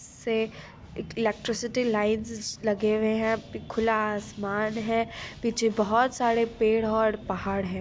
से electricity lines लगे हुए हैं | खुला आसमान है पीछे बहुत सारे पेड़ हैं और पहाड़ है।